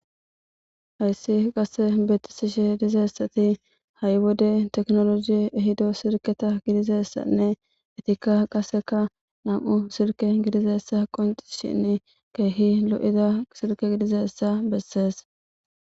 Haysi qase besishe dizaysati ha'i wode technology ehida silketa gidizaysanne etikka qasekka nam'u silke gidizaysa qoncises kehi lo'iza silke gidizaysa besese